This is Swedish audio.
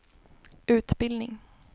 utbildning